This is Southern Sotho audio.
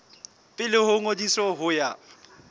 pele ho ngodiso ho ya